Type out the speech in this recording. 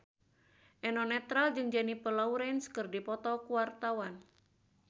Eno Netral jeung Jennifer Lawrence keur dipoto ku wartawan